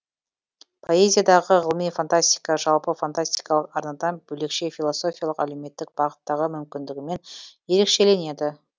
поэзиядағы ғылыми фантастика жалпы фантастикалық арнадан бөлекше философиялық әлеумметтік бағыттағы мүмкіндігімен ерекшеленеді